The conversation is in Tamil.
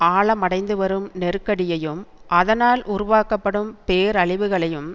ஆழமடைந்து வரும் நெருக்கடியையும் அதனால் உருவாக்கப்படும் பேரழிவுகளையும்